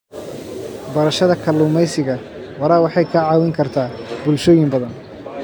Barashada kalluumeysiga waara waxay caawin kartaa bulshooyin badan.